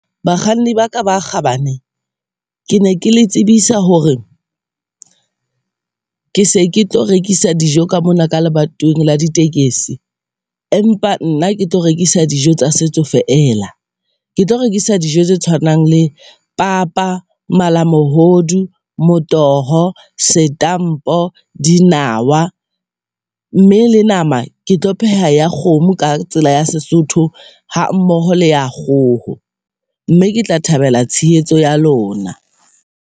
Bakganni baka ba kgabane, ke ne ke le tsebisa hore ke se ke tlo rekisa dijo ka mona ka lebatoweng la di tekesi. Empa nna ke tlo rekisa dijo tsa setso feela, ke tlo rekisa dijo tse tshwanang le papa, malamohodu, motoho, dinawa mme le nama. Ke tlo pheha ya kgomo ka tsela ya Sesotho ha mmoho le ya kgoho mme ke tla thabela tshehetso ya lona.